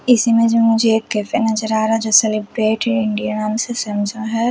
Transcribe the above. इस इमेज में मुझे एक कैफे नजर आ रहा है जो सेलिब्रेट इंडिया नाम से समझा है।